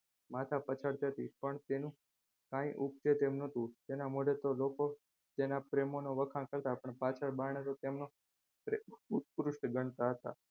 માથા પછાડતી હતી પણ તે કંઈ ઊગશે તેમ નતું તેના મોઢે તો લોકો તેના પ્રેમનો વખાણ કરતા પણ પાછળના બાણે તો તેમનો દૃષ્ટ ગણતા હતા.